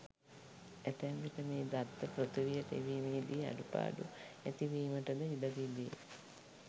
ඇතැම් විට මේ දත්ත පෘථිවියට එවීමේදී අඩුපාඩු ඇතිවීමට ද ඉඩ තිබේ.